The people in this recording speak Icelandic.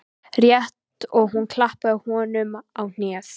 Rétt og hún klappaði honum á hnéð.